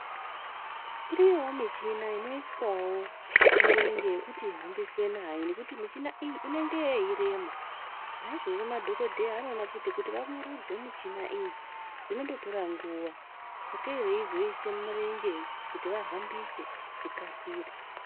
Iriyowo michina inoiswawo mirenje yekuti ihambiswe nayo nekuti michina iyi inenge yeirema naizvozvo madhokodheya anoona kuti vamurudze michina iyi zvinototore nguwa sakei veizoisa mirenje kuti zvikasire.